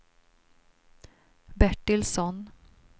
Bertilsson